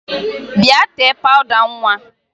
Bịa tee pawụda nwa!